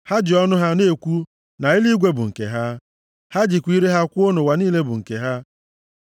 Ha ji ọnụ ha na-ekwu na eluigwe bụ nke ha, ha jikwa ire ha kwuo na ụwa niile bụ nke ha.